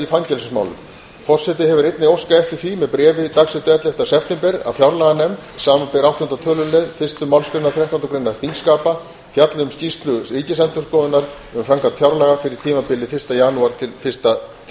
fangelsismálum forseti hefur einnig óskað eftir því með bréfi dagsettu ellefta september að fjárlaganefnd samanber áttunda tölulið fyrstu málsgreinar þrettándu greinar þingskapa fjalli um skýrslu ríkisendurskoðunar um framkvæmd fjárlaga fyrir tímabilið janúar til